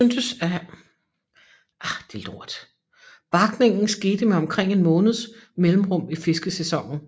Barkning skete med omkring en måneds mellemrum i fiskesæsonen